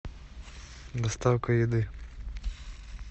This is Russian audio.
доставка еды